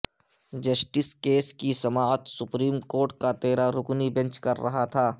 justice case کی سماعت supreme court کا تیرہ رکنی بینچ کررہا تھا